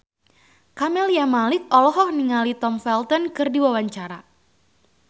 Camelia Malik olohok ningali Tom Felton keur diwawancara